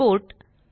export